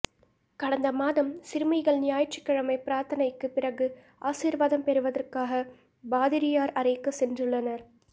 கடந்த மாதம் சிறுமிகள் ஞாயிற்றுக்கிழமை பிராத்தனைக்கு பிறகு ஆசீர்வாதம் பெறுவதற்காக பாதிரியார் அறைக்கு சென்றுள்ளனர்